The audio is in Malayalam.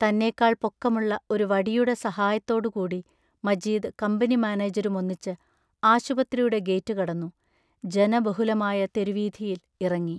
തന്നേക്കാൾ പൊക്കമുള്ള ഒരു വടിയുടെ സഹായത്തോടുകൂടി മജീദ് കമ്പനി മാനേജരുമൊന്നിച്ച് ആശുപത്രിയുടെ ഗേറ്റു കടന്നു ജനബഹുലമായ തെരുവീഥിയിൽ ഇറങ്ങി.